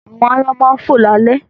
Àwọn aáyán máa ń fò lálẹ́